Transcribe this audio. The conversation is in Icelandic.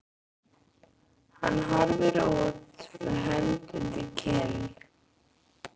Hann horfir út með hönd undir kinn.